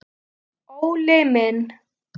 Óli minn!